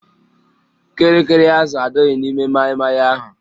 Kịrịkịrị azụ adịghị n'ime maịmaị ahụ